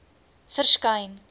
verskyn